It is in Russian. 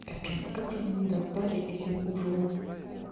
капец как же они достали этим ужо